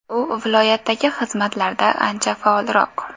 U viloyatdagi xizmatlarda ancha faolroq.